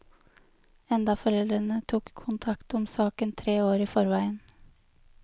Enda foreldrene tok kontakt om saken tre år i forveien.